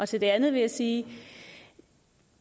til det andet vil jeg sige